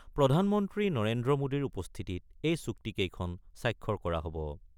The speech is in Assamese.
প্ৰধানমন্ত্ৰী নৰেন্দ্ৰ মোদীৰ উপস্থিতিত এই চুক্তি কেইখনত স্বাক্ষৰ কৰা হ'ব।